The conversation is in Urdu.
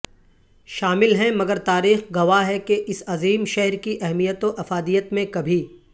شامل ھیں مگر تاریخ گواہ ھےکے اس عظیم شھر کی اھمیت و افادیت میں کبھی